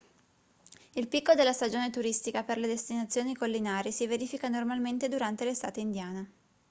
il picco della stagione turistica per le destinazioni collinari si verifica normalmente durante l'estate indiana